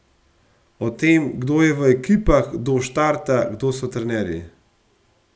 O tem, kdo je v ekipah, kdo štarta, kdo so trenerji.